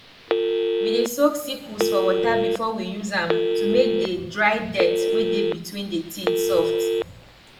we dey soak sickles for water before we use am to make the dry dirt wey dey between the teeth soft